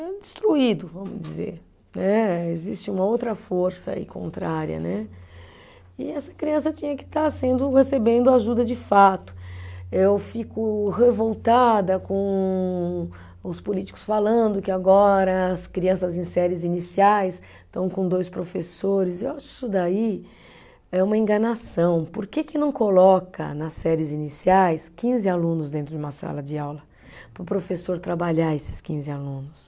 É destruído, vamos dizer né, existe uma outra força aí contrária né, e essa criança tinha que estar sendo, recebendo ajuda de fato eu fico revoltada com os políticos falando que agora as crianças em séries iniciais estão com dois professores eu acho isso daí é uma enganação por que que não coloca nas séries iniciais quinze alunos dentro de uma sala de aula para o professor trabalhar esses quinze alunos